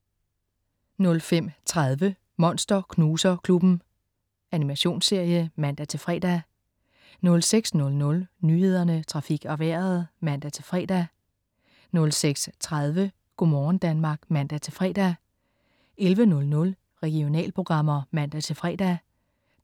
05.30 Monster Knuser Klubben. Animationsserie (man-fre) 06.00 Nyhederne, Trafik og Vejret (man-fre) 06.30 Go' morgen Danmark (man-fre) 11.00 Regionalprogrammer (man-fre)